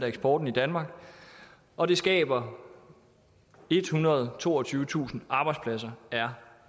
eksporten i danmark og det skaber ethundrede og toogtyvetusind arbejdspladser er